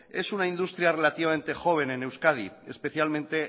es una industria relativamente joven en euskadi especialmente